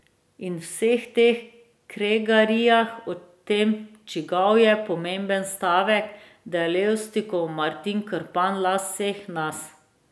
In v vseh teh kregarijah o tem, čigav je, je pomemben stavek, da je Levstikov Martin Krpan last vseh nas.